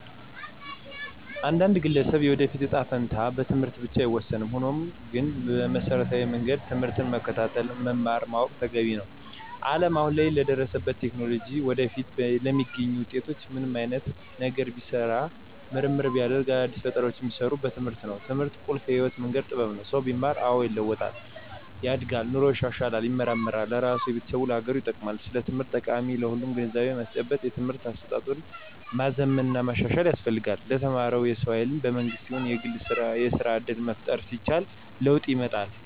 የአንድን ግለሰብ የወደፊት እጣ ፈንታ በትምህርት ብቻ አይወሰንም። ሆኖም ግን በመሰረታዊ መንገድ ትምህርትን መከታተል መማር ማወቅ ተገቢ ነው። አለም አሁን ላይ ለደረሱበት ቴክኖሎጂ ወደፊትም ለሚገኙት ውጤቶች ምንም አይነት ነገር ቢሰራ ምርምር ቢደረግ አዳዲስ ፈጠራውች ቢሰሩ በትምህርት ነው። ትምህርት ቁልፍ የህይወት መንገድ ጥበብ ነው። ሰው ቢማር አዎ ይለዋጣል፣ ያድጋል ኑሮው ይሻሻላል ይመራመራል ለራሱ፣ ለቤተሰቡ፣ ለሀገሩ ይጠቅማል። ስለ ትምህርት ጠቀሜታ ለሁሉም ግንዛቤ ማስጨበጥ የትምህርት አሰጣጡን ማዘመን ማሻሻል ያስፈልጋል። ለተማረው የሰው ሀይል በመንግስትም ይሁን በግል የስራ እድል መፍጠር ሲቻል ለወጥ ይመጣል።